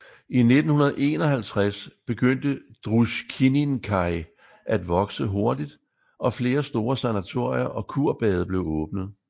I 1951 begyndte Druskininkai at vokse hurtigt og flere store sanatorier og kurbade blev åbnet